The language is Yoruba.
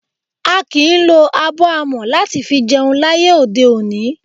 A kìí lo abọ́ amọ̀ láti fi jẹun láyé òde òní.